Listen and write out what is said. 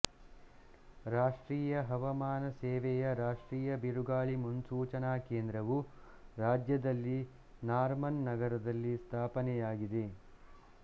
ರಾಷ್ಟ್ರೀಯ ಹವಾಮಾನ ಸೇವೆಯ ರಾಷ್ಟ್ರೀಯ ಬಿರುಗಾಳಿ ಮುನ್ಸೂಚನಾ ಕೇಂದ್ರವು ರಾಜ್ಯದಲ್ಲಿ ನಾರ್ಮನ್ ನಗರದಲ್ಲಿ ಸ್ಧಾಪನೆಯಾಗಿದೆ